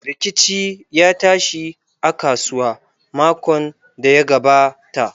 Rikici ya tashi a kasuwa makon da ya gabata.